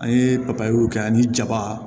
An ye papayew kɛ ani jaba